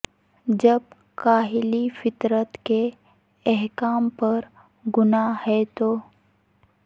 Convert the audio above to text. جب کاہلی فطرت کے احکام پر گناہ ہے تو